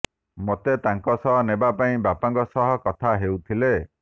ମୋତେ ତାଙ୍କ ସହ ନେବା ପାଇଁ ବାପାଙ୍କ ସହ କଥା ହେଉଥିଲେ